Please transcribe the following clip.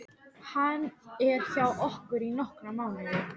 Hann er hjá okkur í nokkra mánuði.